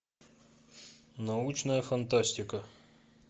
научная фантастика